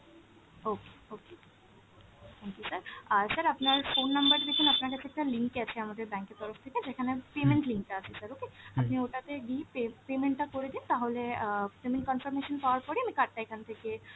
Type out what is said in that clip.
okay, okay, thank you sir, আর sir আপনার phone number টা দেখুন আপনার কাছে একটা link গেছে আমাদের bank এর তরফ থেকে যেখানে payment link টা আছে sir okay, আপনি ওটাতে G pay payment টা করে দিন তাহলে অ্যাঁ payment confirmation পাওয়ার পরেই আমি card টা এখান থেকে